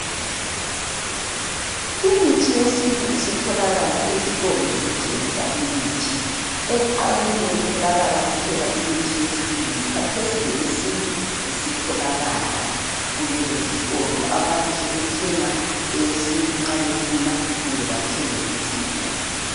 Imithi yesintu isitholakala ezitolo zokuthengisa imithi, ekuqaleni bekutholakala kuphela imithi yesilungu, khathesi leyesintu esitholakala kulezi zitolo. Abantu sebethenga eyesintu nxa befuna kumbe bathenge eyesilungu.